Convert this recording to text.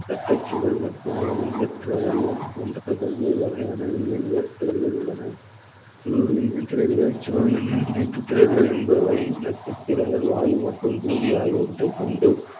தட்டை சுவர் மட்டும் ஒழுங்கற்ற வடிவம் போன்ற பல்வேறு வகையான மீன்கள் திரள்கள் உள்ளன திரள்கள் திரள்கள் என்பவை நட்சத்திரங்கள் வாயு மற்றும் ஜூலி ஆகியவற்றை கொண்டு